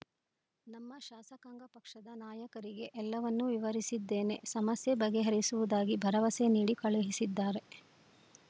ನಮ್ಮ ಶಾಸಕಾಂಗ ಪಕ್ಷದ ನಾಯಕರಿಗೆ ಎಲ್ಲವನ್ನೂ ವಿವರಿಸಿದ್ದೇನೆ ಸಮಸ್ಯೆ ಬಗೆಹರಿಸುವುದಾಗಿ ಭರವಸೆ ನೀಡಿ ಕಳುಹಿಸಿದ್ದಾರೆ